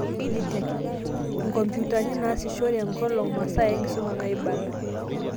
Ed Tech: Inkompyutani naasishore enkolong', masaa enkisuma naaibala.